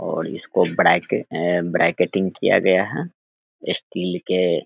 और इसको ब्रैके ब्रैकेटिंग किया गया है स्टील के --